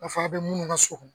Ka f'a bɛ munnu ka so